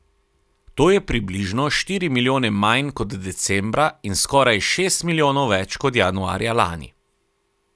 To je približno štiri milijone manj kot decembra in skoraj šest milijonov več kot januarja lani.